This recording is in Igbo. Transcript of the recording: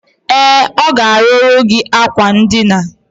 E, o ga-aruru gi akwa ndina.